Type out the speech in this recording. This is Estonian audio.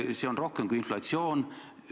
See on rohkem kui inflatsioon.